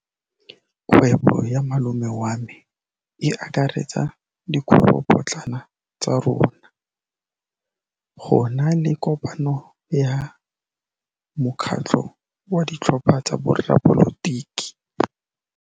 Kgwêbô ya malome wa me e akaretsa dikgwêbôpotlana tsa rona. Go na le kopanô ya mokgatlhô wa ditlhopha tsa boradipolotiki.